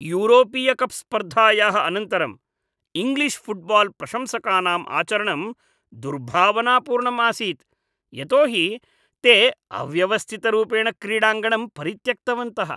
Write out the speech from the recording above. यूरोपीयकप् स्पर्धायाः अनन्तरम् English football प्रशंसकानाम् आचरणं दुर्भावनापूर्णम् आसीत्, यतो हि ते अव्यवस्थितरूपेण क्रीडाङ्गणं परित्यक्तवन्तः।